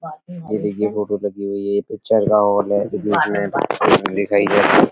ये देखिए फ़ोटो लगी हुई है। पिक्चर का हॉल है जिसमें पिक्चर दिखाई दे रहा है।